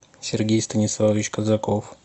сергей станиславович казаков